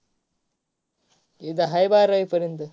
इथं हाय बारावी पर्यन्त.